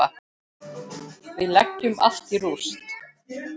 Við leggjum allt í rúst.